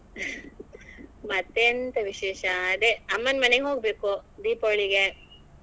ಮತ್ತೇ ಎಂತ ವಿಶೇಷ ಅದೇ ಅಮ್ಮನ್ ಮನೆಗೆ ಹೋಗ್ಬೇಕು ದೀಪಾವಳಿಗೆ.